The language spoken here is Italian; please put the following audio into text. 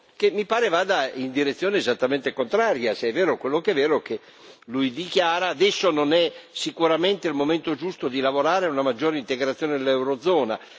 che mi pare vada in direzione esattamente contraria, se è vero quello che è vero, che lui dichiara Adesso non è sicuramente il momento giusto di lavorare a una maggiore integrazione dell'Eurozona.